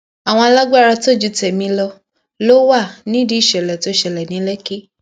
àwọn alágbára tó ju tèmi lọ ló wà nídìí ìṣẹlẹ tó ṣẹlẹ ní lẹkì